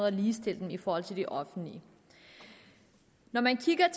at ligestille dem i forhold til det offentlige når man kigger